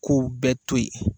K'u bɛɛ to yen